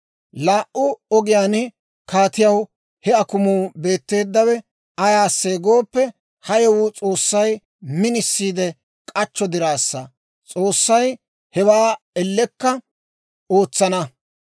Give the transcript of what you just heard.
Laa"u ogiyaan kaatiyaw he akumuu beetteeddawe ayaasee gooppe, ha yewuwaa S'oossay minisiidde k'achcho diraassa; S'oossay hewaa ellekka ootsana.